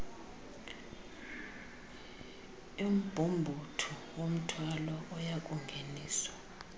yombhumbuthu womthwalo oyakungeniswa